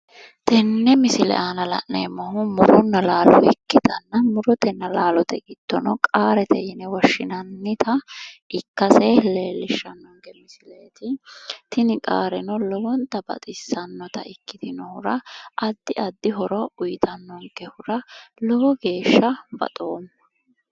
Tenne misile aana la'neemmohu muronna laalo ikkitanna murotenna laalote giddo qaarate yine woshshinannita ikkase Leellishshanno. Tini qaareno lowonta baxissannota ikkitinohura addi addi horo uyitannonkehuara lowo geeshsha baxoomma.